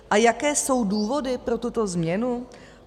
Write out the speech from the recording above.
A jaké jsou výhody pro tuto změnu?